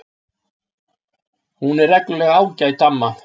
Hún er reglulega ágæt amma.